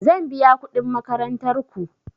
Zan biya kuɗin makarantar ku.